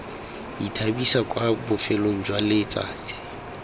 ithabisa kwa bofelong jwa letsatsi